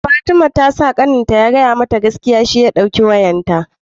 fatima tasa kanin ta ya fada mata gaskiya shi ya dauki wayarta